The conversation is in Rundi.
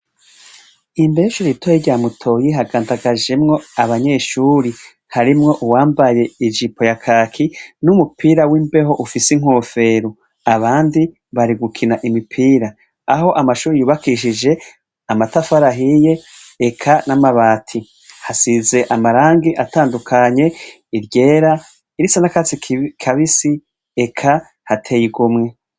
Imbeshu ritoye rya mutoyi hagandagajemwo abanyeshuri harimwo uwambaye ejipo ya kaki n'umupira w'imbeho ufise inkofero abandi barigukina imipira aho amashuri yubakishije amatafarahiye eka n'amabati hasize amarangi atanduwa kanye iryera irisana katsi kabisi eka hateyeigomwe.